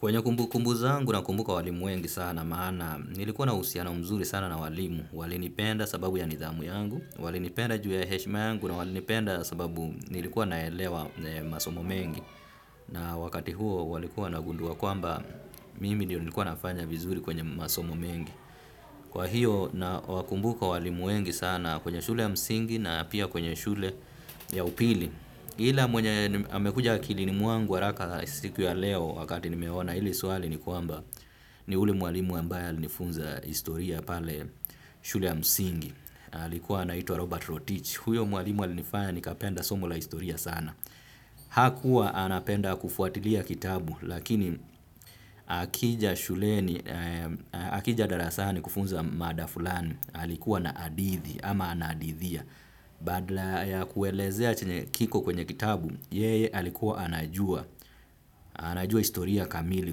Kwenye kumbukumbu zangu nakumbuka walimu wengi sana maana nilikuwa na uhusiano mzuri sana na walimu walinipenda sababu ya nidhamu yangu walinipenda juu ya heshma yangu na walinipenda sababu nilikuwa naelewa masomo mengi na wakati huo walikuwa wanagundua kwamba mimi nilikuwa nafanya vizuri kwenye masomo mengi. Kwa hiyo nawakumbuka walimu wengi sana kwenye shule ya msingi na pia kwenye shule ya upili. Ila mwenye amekuja akilini mwangu haraka siku ya leo wakati nimeona hili swali ni kwamba ni ule mwalimu ambaye alinifunza historia pale shule ya msingi. Alikuwa anaitwa Robert Rotich. Huyo mwalimu alinifanya nikapenda somo la historia sana. Hakua anapenda kufuatilia kitabu lakini akija shuleni akija darasani kufunza mada fulani alikuwa na hadithi ama anahadithia. Badla ya kuelezea chenye kiko kwenye kitabu ye alikuwa anajua anajua historia kamili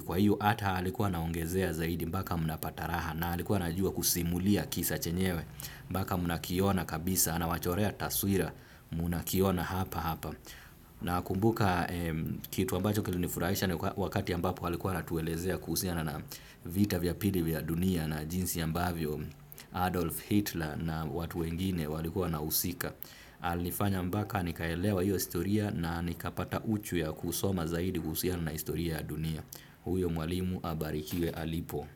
kwa iyo hata alikuwa anaongezea zaidi mbaka mnapata raha. Na alikuwa anajua kusimulia kisa chenyewe mbaka mnakiona kabisa anawachorea taswira mnakiona hapa hapa. Nakumbuka kitu ambacho kilinifurahisha ni wakati ambapo alikua anatuelezea kuhusiana na vita vya pili vya dunia na jinsi ambavyo Adolf Hitler na watu wengine walikua wanahusika. Alifanya mbaka nikaelewa hiyo historia na nikapata uchu ya kusoma zaidi kuhusiana na historia ya dunia. Huyo mwalimu abarikiwe alipo.